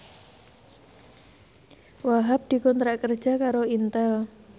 Wahhab dikontrak kerja karo Intel